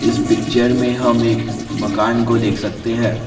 इस पिक्चर में हम एक मकान को देख सकते हैं।